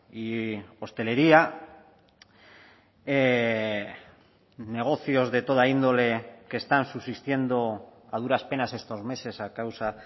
y hostelería negocios de toda índole que están subsistiendo a duras penas estos meses a causa